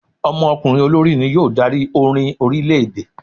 Ọmọkùnrin olórí ni yóò dari orín orilẹ-ede